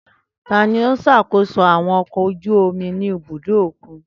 Tani o ṣakoso àwọn ọkọ̀ ojú omi ni ibudo okun?